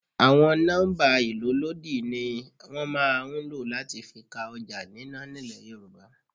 Àwọn nọ́mbà ìlólòdi ni wọn máa ń ló láti fi ka ọjà nínà nílẹ̀ Yorùbá.